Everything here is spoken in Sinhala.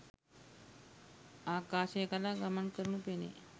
ආකාශය කරා ගමන් කරනු පෙනේ.